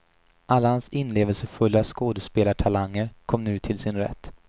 Alla hans inlevelsefulla skådespelartalanger kom nu till sin rätt.